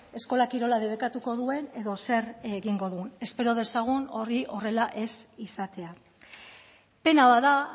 eskola kirola debekatuko duen edo zer egingo duen espero dezagun hori horrela ez izatea pena bat da